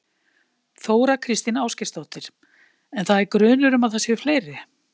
Þóra Kristín Ásgeirsdóttir: En það er grunur um að það séu fleiri?